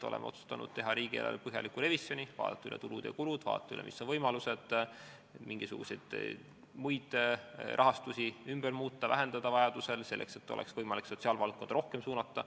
Oleme otsustanud teha riigieelarve põhjaliku revisjoni, vaadata üle tulud ja kulud, vaadata üle, mis on võimalused mingisugust muud rahastust vajaduse korral vähendada, selleks et oleks võimalik sotsiaalvaldkonda rohkem raha suunata.